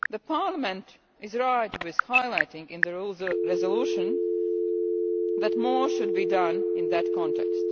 Parliament is right to highlight in the resolution that more should be done in that context.